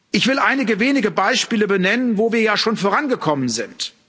Ich will einige wenige Beispiele benennen, wo wir ja schon vorangekommen sind.